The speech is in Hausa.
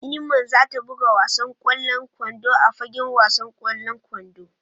Iman za ta buga wasan kwallon kwando a fagen wasan kwallon kwando.